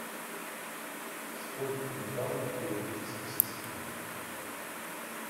сколько металлов в периодической системе